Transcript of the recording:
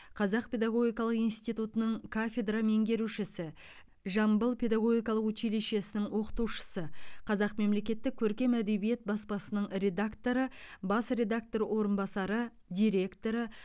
қазақ педагогикалық институтының кафедра меңгерушісі жамбыл педагогикалық училищесінің оқытушысы қазақ мемлекеттік көркем әдебиет баспасының редакторы бас редакторының орынбасары директоры